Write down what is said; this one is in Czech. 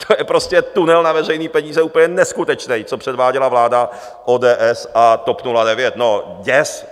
To je prostě tunel na veřejné peníze, úplně neskutečný, co předváděla vláda ODS a TOP 09 - no děs!